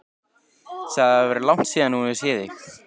Sagði að það væri langt síðan hún hefði séð þig.